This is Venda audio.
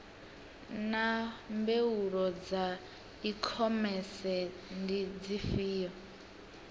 naa mbuelo dza ikhomese ndi dzifhio